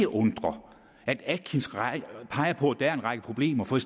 undre at atkinsrapporten peger på at der er en række problemer for